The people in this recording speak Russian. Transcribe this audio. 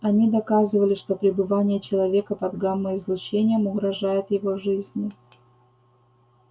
они доказывали что пребывание человека под гамма излучением угрожает его жизни